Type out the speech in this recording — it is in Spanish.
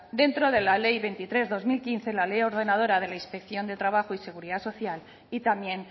dentro de la ley veintitrés barra dos mil quince la ley ordenadora de la inspección de trabajo y seguridad social y también